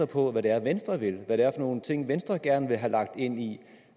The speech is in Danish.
på hvad det er venstre vil hvad det er for nogle ting venstre gerne vil have lagt ind i